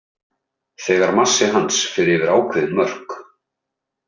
Þegar massi hans fer yfir ákveðin mörk.